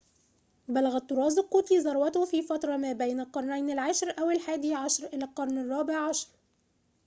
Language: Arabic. بلغ الطراز القوطي ذروته في فترة ما بين القرنين العاشر أو الحادي عشر إلى القرن الرابع عشر